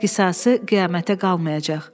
Qisası qiyamətə qalmayacaq.